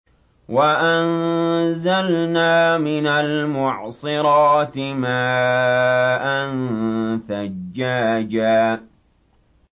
وَأَنزَلْنَا مِنَ الْمُعْصِرَاتِ مَاءً ثَجَّاجًا